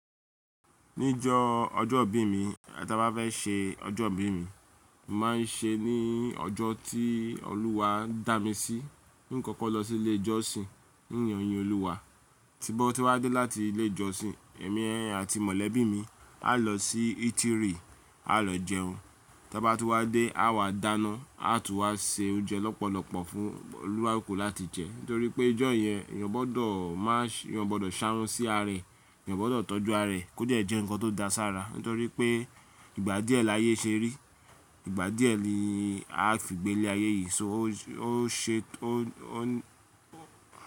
Níjo ọjọ́ ìbí mi, tí a bá fẹ́ ṣe ọjọ́ ìbí mi, máa ń ṣe ní ọjọ́ tí Olúwa dá mi sí. Nkọkọ lọ sí ilé ìjọsìn n lo yin Olúwa, tímo tíwa dé láti ilé ìjọsìn, èmi àti mọ̀lẹ́bí mi a lọ sí ítírì a lọ jẹun. Ta bá tú wá dé a wà dáná, a tún wá se oúnjẹ lọ́pọ̀lọ́pọ̀ fún olukaluku láti jẹ. Nítorí pé ijọ́ yẹn, ìyá gbọ́dọ̀ má ṣé, ìyá gbọ́dọ̀ ṣáùn sí aré, ìyán gbọ́dọ̀ tọ́jú aré kó dẹ́ jẹ́ ǹkan tó da sara. Nítorí pé ìgbà díẹ̀ láyé ṣe rí, ìgbà díẹ̀ ni a fìgbé le ayé yìí so ó ṣe ó, ó.